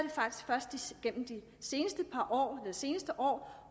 igennem det seneste år